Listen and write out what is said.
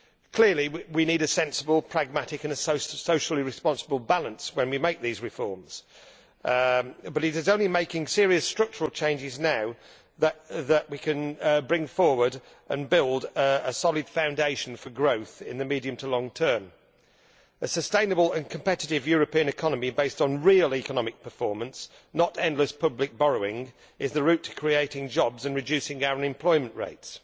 Clearly we need a sensible, pragmatic and socially responsible balance when we make these reforms, but it is only by making serious structural changes now that we can bring forward and build a solid foundation for growth in the medium to long term. A sustainable and competitive European economy based on real economic performance not endless public borrowing is the route to creating jobs and reducing our unemployment rates.